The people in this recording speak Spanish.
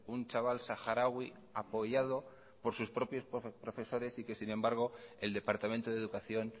un chaval saharaui apoyado por sus propios profesores y que sin embargo el departamento de educación